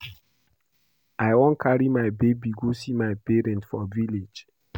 I wan carry my babe go see my parents for village